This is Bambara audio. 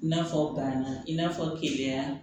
I n'a fɔ banna i n'a fɔ keleya